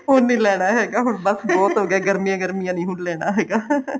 ਹੁਣ ਨੀ ਲੈਣਾ ਹੈਗਾ ਹੁਣ ਬੱਸ ਬਹੁਤ ਹੋਗਿਆ ਗਰਮੀਆਂ ਗਰਮੀਆਂ ਨੀ ਹੁਣ ਲੈਣਾ ਹੈਗਾ